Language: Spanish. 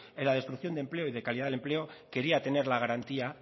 en la destrucción de empleo y de calidad del empleo quería tener la garantía